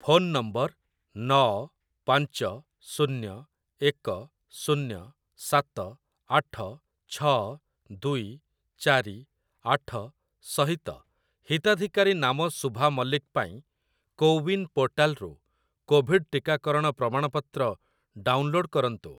Phone number ନଅ ପାଞ୍ଚ ଶୁନ୍ୟ ଏକ ଶୁନ୍ୟ ସାତ ଆଠ ଛଅ ଦୁଇ ଚାରି ଆଠ ସହିତ ହିତାଧିକାରୀ ନାମ ସୁଭା ମଲ୍ଲିକ ପାଇଁ କୋୱିନ୍‌ ପୋର୍ଟାଲ୍‌ରୁ କୋଭିଡ଼୍ ଟିକାକରଣ ପ୍ରମାଣପତ୍ର ଡାଉନଲୋଡ଼୍‌ କରନ୍ତୁ ।